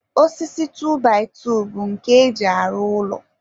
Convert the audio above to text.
osisi 2by2 bụ nke e ji arụ ụlọ..